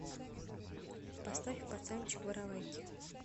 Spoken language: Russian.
поставь пацанчик воровайки